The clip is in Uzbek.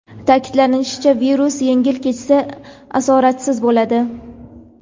Ta’kidlanishicha, virus yengil kechsa, asoratsiz bo‘ladi.